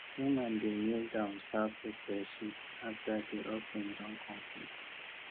woman dey kneel down serve pepper soup after di offering don complete